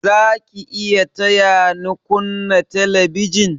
Za ki iya taya ni kunna telebijin?